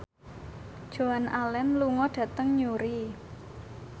Joan Allen lunga dhateng Newry